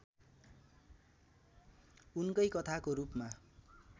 उनकै कथाको रूपमा